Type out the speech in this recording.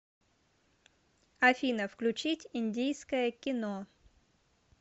афина включить индийское кино